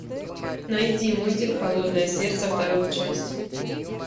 найди мультик холодное сердце вторую часть